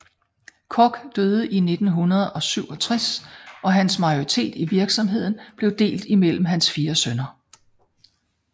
Koch døde i 1967 og hans majoritet i virksomheden blev delt imellem hans fire sønner